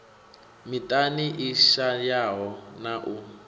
miṱani i shayaho na u